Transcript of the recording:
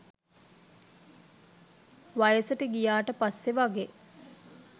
වයසට ගියාට පස්සෙ වගේ.